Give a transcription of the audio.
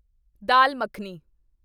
ਦਾਲ makhani